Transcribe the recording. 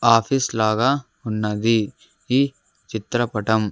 Office లాగా ఉన్నది ఈ చిత్రపటం.